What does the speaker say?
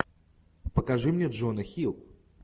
покажи мне джона хилл